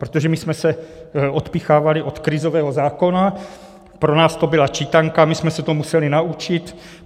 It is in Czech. Protože my jsme se odpíchávali od krizového zákona, pro nás to byla čítanka, my jsme se to museli naučit.